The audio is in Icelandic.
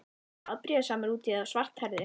Ertu afbrýðisamur út í þá svarthærðu?